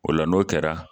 O la n'o kɛra